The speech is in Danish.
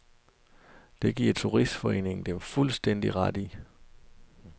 Det giver turistforeningen dem fuldstændig ret i.